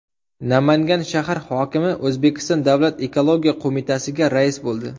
Namangan shahar hokimi O‘zbekiston Davlat ekologiya qo‘mitasiga rais bo‘ldi.